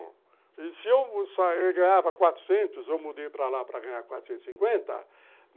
E se eu ganhava quatrocentos, eu mudei para lá para ganhar quatrocentos e cinquenta